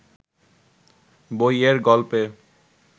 বইয়ের গল্পে